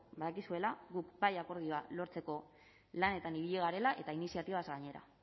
badakizuela guk bai akordioa lortzeko lanetan ibili garela eta iniziatibaz gainera